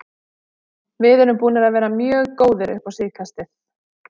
Við erum búnir að vera mjög góðir upp á síðkastið.